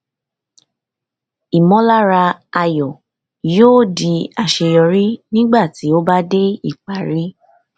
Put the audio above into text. ìmọlára ayọ yóò di àṣeyọrí tí o bá dé ìparí